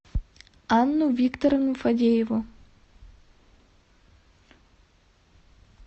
анну викторовну фадееву